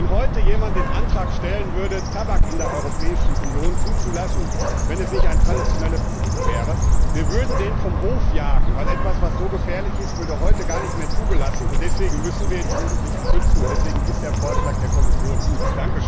Wenn heute jemand den Antrag stellen würde, Tabak in der Europäischen Union zuzulassen, wenn es nicht ein traditionelles Produkt wäre, würden wir den vom Hof jagen, weil etwas, das so gefährlich ist, heute gar nicht mehr zugelassen würde. Deswegen müssen wir die Jugendlichen schützen, und deswegen ist der Vorschlag der Kommission gut.